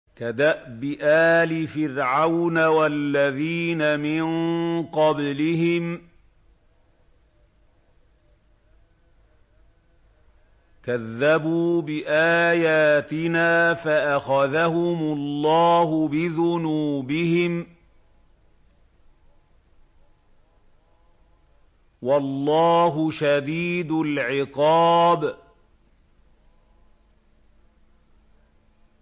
كَدَأْبِ آلِ فِرْعَوْنَ وَالَّذِينَ مِن قَبْلِهِمْ ۚ كَذَّبُوا بِآيَاتِنَا فَأَخَذَهُمُ اللَّهُ بِذُنُوبِهِمْ ۗ وَاللَّهُ شَدِيدُ الْعِقَابِ